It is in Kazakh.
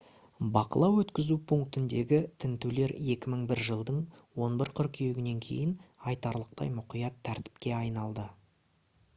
бақылау-өткізу пунктіндегі тінтулер 2001 жылдың 11 қыркүйегінен кейін айтарлықтай мұқият тәртіпке айналды